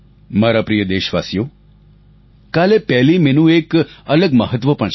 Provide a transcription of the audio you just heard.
મારા પ્રિય દેશવાસીઓ કાલે 1 મે નું એક અલગ મહત્વ પણ છે